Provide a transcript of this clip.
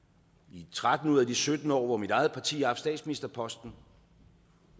i tretten ud af de sytten år hvor mit eget parti har haft statsministerposten